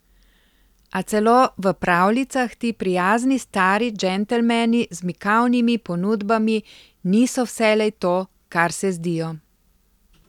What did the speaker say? A celo v pravljicah ti prijazni stari džentelmeni z mikavnimi ponudbami niso vselej to, kar se zdijo.